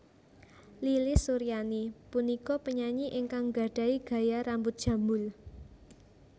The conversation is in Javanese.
Lilis Suryani punika penyanyi ingkang nggadhahi gaya rambut jambul